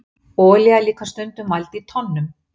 olía er líka stundum mæld í tonnum